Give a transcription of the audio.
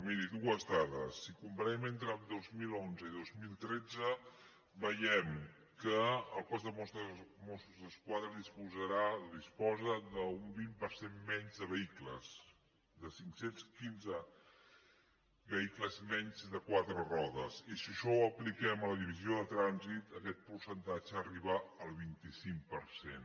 miri dues dades si comparem entre el dos mil onze i el dos mil tretze veiem que el cos de mossos d’esquadra disposarà o disposa d’un vint per cent menys de vehicles de cinc cents i quinze vehicles menys de quatre rodes i si això ho apliquem a la divisió de trànsit aquest percentatge arriba al vint cinc per cent